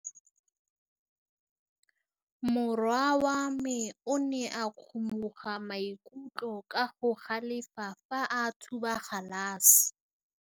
Morwa wa me o ne a kgomoga maikutlo ka go galefa fa a thuba galase.